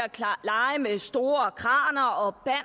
store kraner og